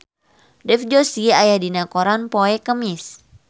Dev Joshi aya dina koran poe Kemis